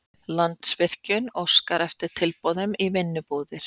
Landsvirkjun óskar eftir tilboðum í vinnubúðir